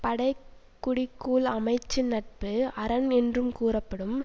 படை குடி கூழ் அமைச்சு நட்பு அரண் என்றும் கூறப்படும்